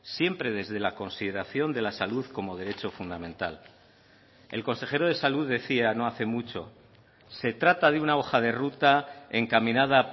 siempre desde la consideración de la salud como derecho fundamental el consejero de salud decía no hace mucho se trata de una hoja de ruta encaminada a